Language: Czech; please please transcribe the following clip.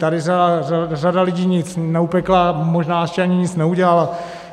Tady řada lidí nic neupekla, možná ještě ani nic neudělala.